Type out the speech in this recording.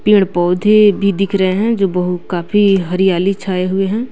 पेड़ पौधे भी दिख रहे हैं जो बहु काफी हरियाली छाए हुए हैं।